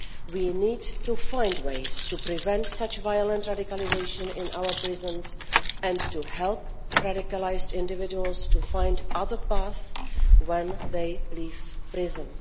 We need to find ways to prevent such violent radicalisation in our prisons and to help radicalised individuals to find other paths when they leave prison.